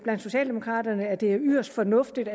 socialdemokraterne at det er yderst fornuftigt